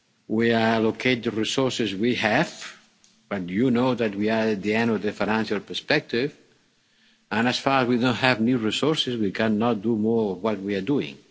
We will allocate the resources we have, but you know that we are at the end of the financial perspective, and as long as we don't have new resources, we cannot do more than we are doing.